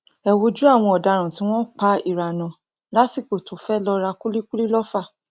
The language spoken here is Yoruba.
ẹ wojú àwọn ọdaràn tí wọn pa iranat lásìkò tó fẹẹ lọọ ra kúlíkùlì lọfà